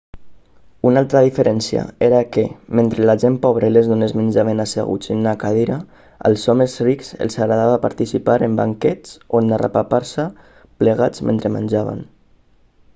una altra diferència era que mentre la gent pobra i les dones menjaven asseguts en una cadira als homes rics els agradava participar en banquets on arrepapar-se plegats mentre menjaven